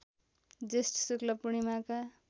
ज्येष्ठ शुक्ल पूणिर्माका